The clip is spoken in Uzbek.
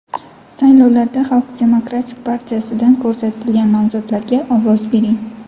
Saylovlarda Xalq demokratik partiyasidan ko‘rsatilgan nomzodlarga ovoz bering!